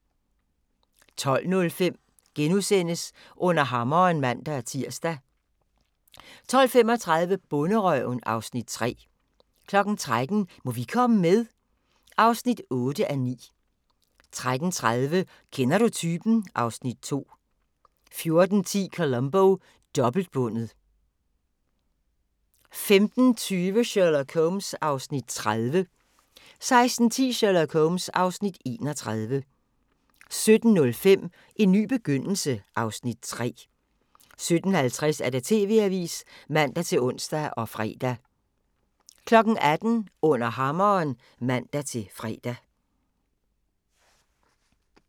12:05: Under Hammeren *(man-tir) 12:35: Bonderøven (Afs. 3) 13:00: Må vi komme med? (8:9) 13:30: Kender du typen? (Afs. 2) 14:10: Columbo: Dobbeltbundet 15:20: Sherlock Holmes (Afs. 30) 16:10: Sherlock Holmes (Afs. 31) 17:05: En ny begyndelse (Afs. 3) 17:50: TV-avisen (man-ons og fre) 18:00: Under hammeren (man-fre)